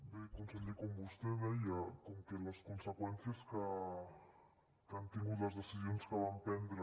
bé conseller com vostè deia com que les conseqüències que han tingut les decisions que van prendre